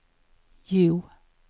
Hjo